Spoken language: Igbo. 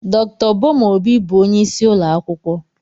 Dr. Boma Obi bụ onye isi ụlọ akwụkwọ.